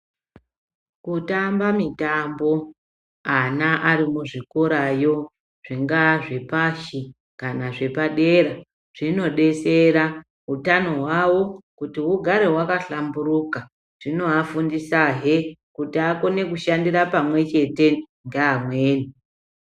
Kutamba mitamba ana ari kuzvikorayo zvingaa zvepashi kana zvepadera zvinodetsera hutano hwawo hugare hwakahlamburuka zvinoafundisa he kuti agone kushandira pamwe chete neamweni.